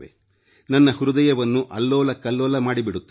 ನನ್ನ ಹೃದಯವನ್ನು ಅಲ್ಲೋಲಕಲ್ಲೋಲ ಮಾಡಿಬಿಡುತ್ತವೆ